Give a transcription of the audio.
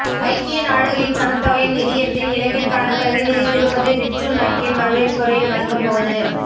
ஐக்கிய நாடுகளின் சனத்தொகை நிதியத்தின் இலங்கைக்கான பிரதிநிதி திருமதி ரிட்சு நக்கென் வரவேற்புரை வழங்கும் போது